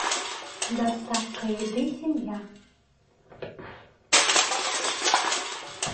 доставка еды семья